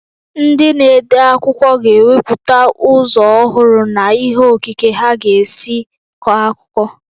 Ndị na-ede akwụkwọ ga-ewepụta ụzọ ọhụrụ na ihe okike ha ga-esi kọọ akụkọ.